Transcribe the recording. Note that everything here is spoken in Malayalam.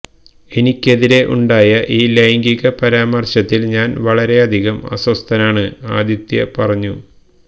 എനിക്കെതിരെ ഉണ്ടായ ഈ ലൈംഗിക പരാമർശത്തിൽ ഞാൻ വളരെ അധികം അസ്വസ്ഥനാണ് ആദിത്യ പറഞ്ഞു